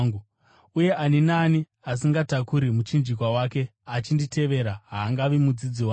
Uye ani naani asingatakuri muchinjikwa wake achinditevera haangavi mudzidzi wangu.